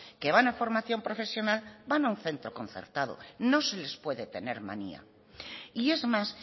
que van a formación profesional van a un centro concertado no se les puede tener manía y es más